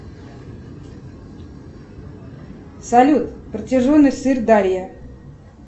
салют протяженность сырдарья